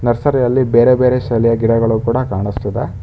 ನರ್ಸರಿಯಲ್ಲಿ ಬೇರೆ ಬೇರೆ ಶೈಲಿಯ ಗಿಡಗಳು ಕೂಡ ಕಾಣಿಸ್ತಿದೆ.